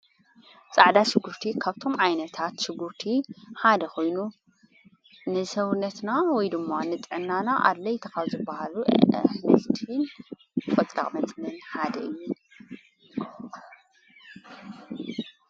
ፃዕዳ ሽጕርቲ ካብቶም ዓይነታት ሽጉርቲ ሓደ ኾይኑ ንሰውነትና ወይ ድማ ንጠዕና ኣድለይት ጠቀምትን ካብ ዝበሃሉ ኣንስቲን ቈጽራቕ ሓደ እዩ።